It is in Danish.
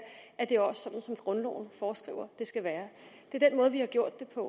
at det også er sådan som grundloven foreskriver det skal være det er den måde vi har gjort det på